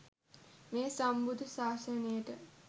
මේ සම්බුද්ධ ශාසනයට